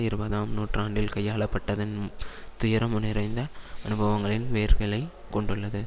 இருபதாம் நூற்றாண்டில் கையாளப்பட்டதின் துயரம் நிறைந்த அனுபவங்களின் வேர்களை கொண்டுள்ளது